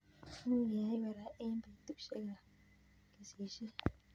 Much keyai korai eng' petushek ab kesishet